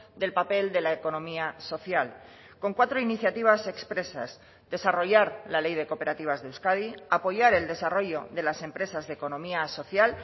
del papel de la economía social con cuatro iniciativas expresas desarrollar la ley de cooperativas de euskadi apoyar el desarrollo de las empresas de economía social